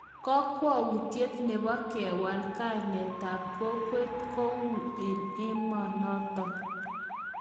Kokwoutyet nebo kewal kainetab kokwet kou eng emonoton